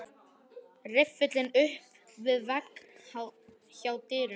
Riffillinn upp við vegg hjá dyrunum.